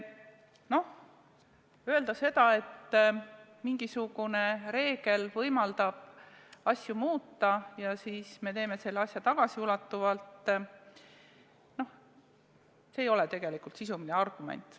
Noh, öelda seda, et mingisugune reegel võimaldab asju muuta ja siis me teeme selle asja tagasiulatuvalt – see ei ole tegelikult sisuline argument.